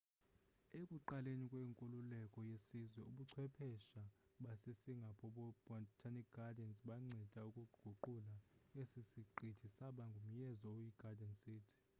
ekuqaleni kwenkululeko yesizwe ubuchwephesha basesingapore botanic gardens banceda ukuguqula esi siqithi saba ngumyezo oyi garden city